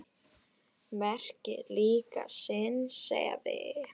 Merkir líka sinni sefi.